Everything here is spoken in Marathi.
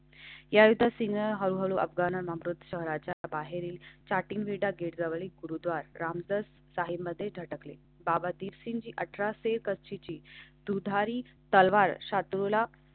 यासिन हा अफगाण अमृत शहराच्या बाहेर स्टार्टिंगला गेटजवळ एक गुरुद्वारा रामदास साहिबमध्ये झटकले. बाबा दिवशी जी अठरा शेवटची दुधारी तलवारला.